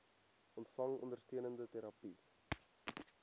ontvang ondersteunende terapie